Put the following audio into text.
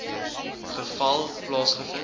geval plaasge vind